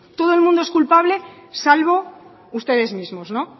todo el mundo es culpable salvo ustedes mismos no